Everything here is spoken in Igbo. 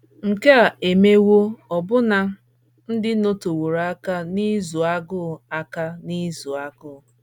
Nke a emewo ọbụna ndị nọteworo aka n’ịzụ agụ aka n’ịzụ agụ.